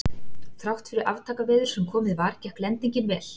Þrátt fyrir aftakaveður sem komið var, gekk lendingin vel.